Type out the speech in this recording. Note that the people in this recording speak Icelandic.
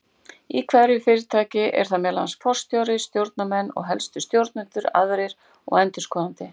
Í hverju fyrirtæki eru það meðal annars forstjóri, stjórnarmenn og helstu stjórnendur aðrir og endurskoðandi.